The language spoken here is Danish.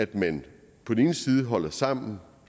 den ene side holder man sammen